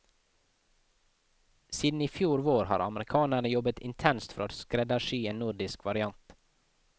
Siden i fjor vår har amerikanerne jobbet intenst for å skreddersy en nordisk variant.